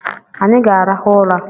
Anyi ga-arahụ ụra